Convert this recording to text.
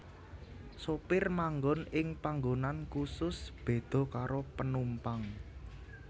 Sopir manggon ing panggonan khusus beda karo penumpang